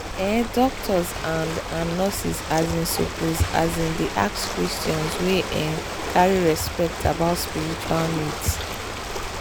ehh doctors and and nurses asin suppose asin dey ask questions wey um carry respect about spiritual needs.